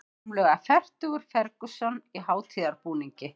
Rúmlega fertugur Ferguson í hátíðarbúningi